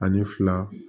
Ani fila